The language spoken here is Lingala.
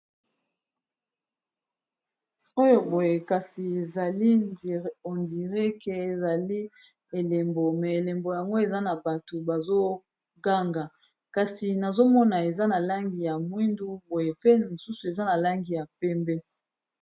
oyo boye kasi ezali endireqe ezali elembo me elembo yango eza na bato bazoganga kasi nazomona eza na langi ya mwindu boye pe mosusu eza na langi ya pembe